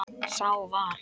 Sá var